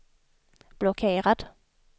blockerad